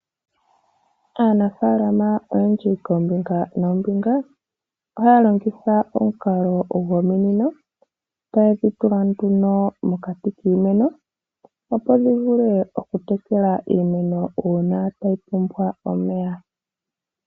Aanafaalama oyendji koombinga noombinga ohaya longitha omukalo gwominino, taye dhi tula nduno mokati kiimeno, opo dhi vule okutekela iimeno uuna tayi pumbwa omeya.